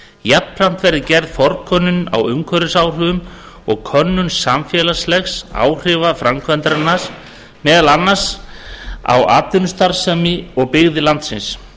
jafnframt verði gerð forkönnun á umhverfisáhrifum og könnuð samfélagsleg áhrif framkvæmdarinnar meðal annars á atvinnustarfsemi og byggðir landsins